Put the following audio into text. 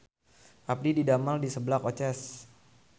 Abdi didamel di Seblak Oces